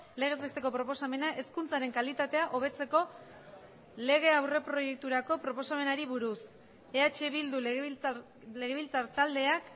legez besteko proposamena hezkuntzaren kalitatea hobetzeko lege aurreproiekturako proposamenari buruz eh bildu legebiltzar taldeak